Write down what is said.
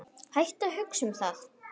Hættu að hugsa um það.